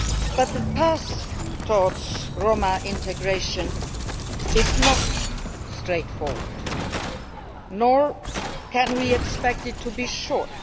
But the path towards Roma integration is not straightforward, nor can we expect it to be short.